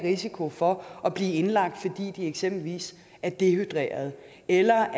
risiko for at blive indlagt fordi de eksempelvis er dehydrerede eller